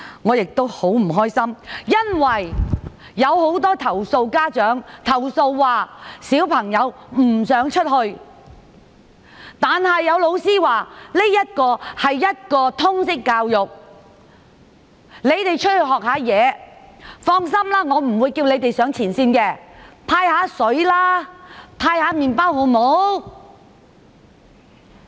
我很不高興，因為有很多家長投訴，指小朋友不想出去，但有老師說："這是一課通識教育，你們出去學習，放心，我不會叫你們上前線，只是派發水和麵包，好嗎？